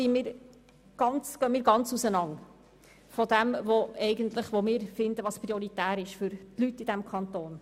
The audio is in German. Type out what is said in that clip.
Hier gehen unsere Meinungen darüber, welche Massnahmen prioritär sind, weit auseinander.